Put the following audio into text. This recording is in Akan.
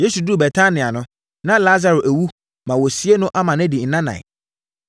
Yesu duruu Betania no, na Lasaro awu ma wɔasie no ma adi nnanan.